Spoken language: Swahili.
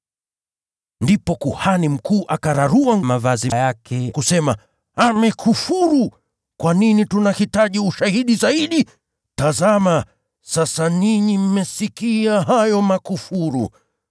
Ndipo kuhani mkuu akararua mavazi yake na kusema, “Amekufuru! Tuna haja gani tena ya mashahidi zaidi? Tazama, sasa ninyi mmesikia hayo makufuru.